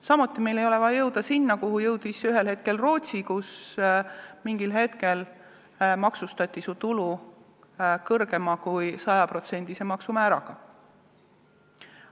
Samuti ei ole meil vaja jõuda sinna, kuhu on jõudnud Rootsi, kus mingil hetkel hakatati tulu maksustama ka kõrgema maksumääraga kui 100%.